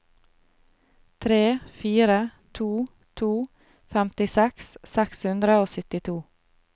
tre fire to to femtiseks seks hundre og syttito